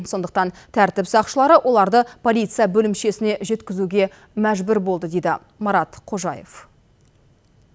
сондықтан тәртіп сақшылары оларды полиция бөлімшесіне жеткізуге мәжбүр болды дейді марат қожаев